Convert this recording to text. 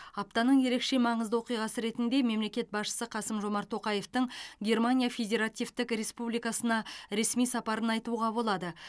аптаның ерекше маңызды оқиғасы ретінде мемлекет басшысы қасым жомарт тоқаевтың германия федеративтік республикасына ресми сапарын айтуға болады